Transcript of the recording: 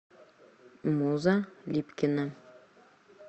муза липкина